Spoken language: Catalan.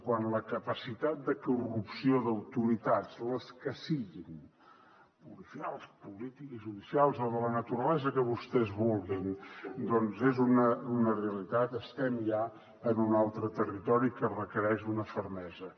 quan la capacitat de corrupció d’autoritats les que siguin policials polítiques judicials o de la naturalesa que vostès vulguin doncs és una realitat estem ja en un altre territori que requereix una fermesa